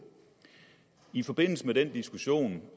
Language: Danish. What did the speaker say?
i forbindelse med den diskussion